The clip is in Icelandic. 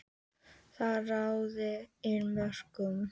Þar raðaði inn mörkum.